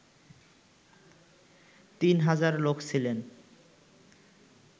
তিন হাজার লোক ছিলেন